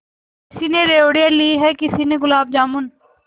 किसी ने रेवड़ियाँ ली हैं किसी ने गुलाब जामुन